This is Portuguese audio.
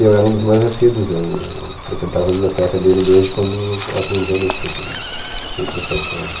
E eu era um dos mais assíduos, eu eu frequentava a biblioteca dele desde quando eu aprendi a ler, que foi com seis para sete anos.